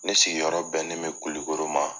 Ne sigiyɔrɔ bɛ ne mi kulukoro ma.